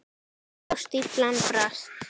Og stíflan brast.